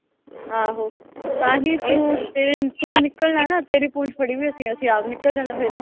ਤਾਂਹੀ ਤੂੰ ਤੇ ਤੂੰ ਨਿਕਲਣਾ ਨਾ। ਤੇਰੀ ਪੂਛ ਪੜੀ ਹੋਈ ਅਸੀਂ। ਅਸੀਂ ਆਪ ਨਿਕਲ ਜਾਣਾ ਫਿਰ।